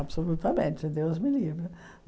Absolutamente, Deus me livre.